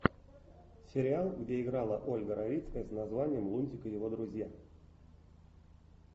сериал где играла ольга равицкая с названием лунтик и его друзья